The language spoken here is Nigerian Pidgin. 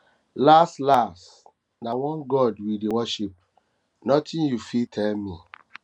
las las na one god we dey worship nothing you fit tell me